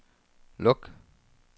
luk